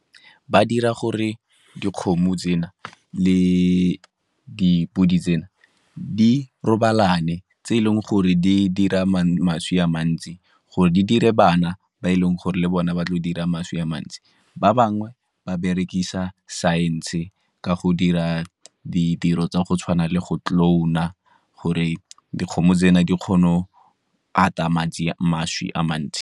Ba dira gore dikgomo tsena le dipodi tsena di robalane, tse e leng gore di dira mašwi a mantsi, gore di dire bana ba e leng gore le bone ba tlo dira mašwi a mantsi. Ba bangwe ba berekisa saense ka go dira ditiro tsa go tshwana le go clone-a gore dikgomo tsena di kgono ata mašwi a mantsi.